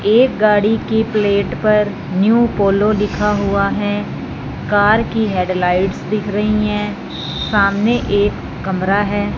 एक गाड़ी की प्लेट पर न्यू पोलो लिखा हुआ है कार की हेडलाइटस दिख रही है सामने एक कमरा है।